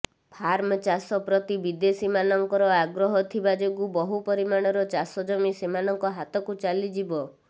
farm ଚାଷ ପ୍ରତି ବିଦେଶୀମାନଙ୍କର ଆଗ୍ରହ ଥିବା ଯୋଗୁଁ ବହୁ ପରିମାଣର ଚାଷ ଜମି ସେମାନଙ୍କ ହାତକୁ ଚାଲିଯିବ